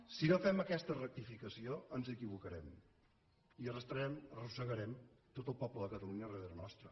si no fem aquesta rectificació ens equivocarem i arrossegarem tot el poble de catalunya darrere nostre